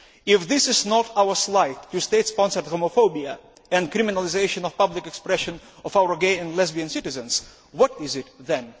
If this is not our slide to state sponsored homophobia and criminalisation of public expression of our gay and lesbian citizens, what is it then?